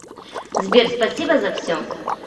сбер спасибо за все